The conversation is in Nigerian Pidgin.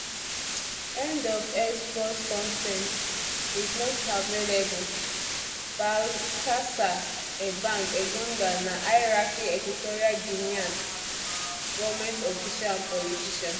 end of x post con ten t is not available um baltasar ebang engonga na highranking equatorial guinean um goment official and politician